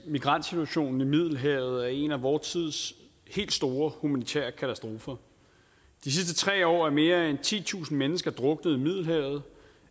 at migrantsituationen i middelhavet er en af vor tids helt store humanitære katastrofer de sidste tre år er mere end titusind mennesker druknet i middelhavet